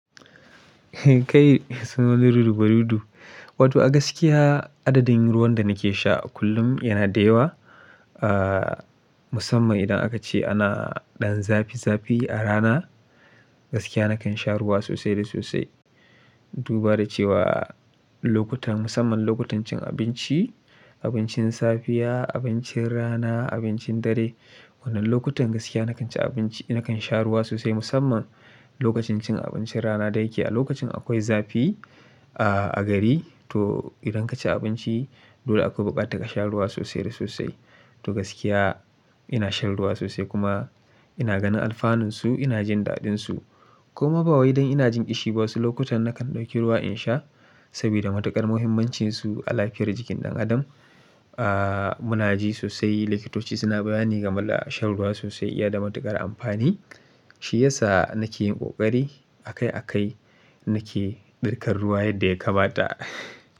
Kai suna Ludu Barudu. Wato a gaskiya adadin ruwan da nake sha kullum yana da yawa. Ah, musamman idan aka ce ana ɗan zafi zafi a rana, gaskiya nakan sha ruwa sosai da sosai. Duba da cewa lokutan musamman lokutan cin abinci, abincin safiya, abincin rana, abincin dare. Wadannan lokutan gaskiya nakan ci abinci nakan sha ruwa sosai musamman lokacin cin abincin rana da yake a lokacin akwai zafi a gari to idan kaci abinci dole akwai bukata ka sha ruwa sosai da sosai. To gaskiya ina shan ruwa sosai kuma ina ganin alfanunsu ina jin daɗinsu. Kuma ba wai don ina jin ishi ba wasu lokutan nakan ɗauki ruwa in sha saboda matuƙar muhimmancinsu a lafiyar jikin ɗan adam. Ah, munaji sosai likitoci suna bayani game da shan ruwa sosai iya da matuƙar amfani. Shi ya sa nake yin ƙoƙari akai a kai nake ɗirkar ruwa yadda ya kamata.